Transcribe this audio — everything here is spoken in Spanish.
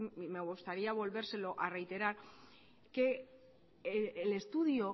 sí me gustaría volvérselo a reiterar que el estudio